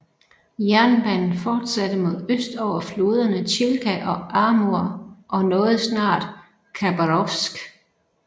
Jernbanen fortsatte mod øst over floderne Chilka og Amur og nåede snart Khabarovsk